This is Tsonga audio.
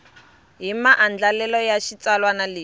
hi maandlalelo ya xitsalwana lexi